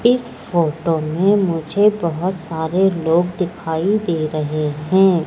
इस फोटो में मुझे बहोत सारे लोग दिखाई दे रहे हैं।